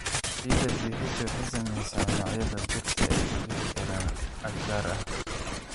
Ciidda pH waxay saamaysaa noocyada dhirta ee ka bixi kara aag gaar ah.